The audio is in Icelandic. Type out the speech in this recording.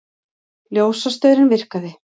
Ljósastaurinn virkaði